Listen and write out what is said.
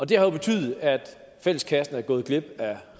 det har jo betydet at fælleskassen er gået glip af